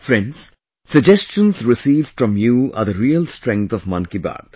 Friends, suggestions received from you are the real strength of 'Mann Ki Baat'